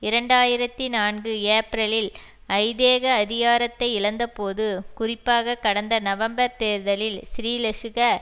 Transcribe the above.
இரண்டு ஆயிரத்தி நான்கு ஏப்ரலில் ஐதேக அதிகாரத்தை இழந்தபோது குறிப்பாக கடந்த நவம்பர் தேர்தலில் ஸ்ரீலசுக